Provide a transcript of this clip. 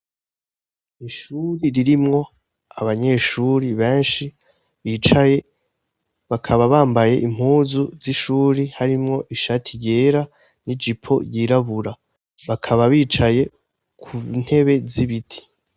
Ishuri ririmwo abanyeshuri benshi bicaye bakaba bambaye impuzu z'ishuri harimwo ishati ryera n'ijipo yirabura bakaba bicaye ku ntebe z'ibiti.